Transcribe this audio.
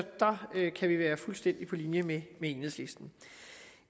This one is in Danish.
der kan vi være fuldstændig på linje med enhedslisten